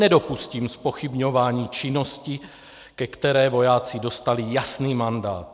Nedopustím zpochybňování činnosti, ke které vojáci dostali jasný mandát.